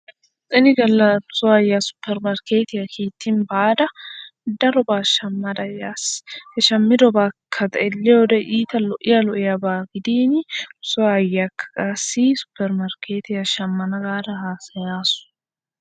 Ini galla nu soo aayyiya suppermarkkeetiya kiittin baada darobaa shammada yaas. He shammidobaakka xeelliyode iita lo'iya lo'iyaba gidiini nu soo aayyiyakka qassi suppermarkkeetiya shammana gaada haasayaasu.